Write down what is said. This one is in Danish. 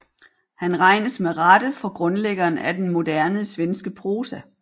Han regnes med rette for grundlæggeren af den moderne svenske prosa